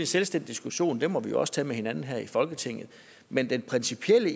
selvstændig diskussion den må vi også tage med hinanden her i folketinget men det principielle